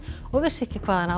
og vissu ekki hvaðan á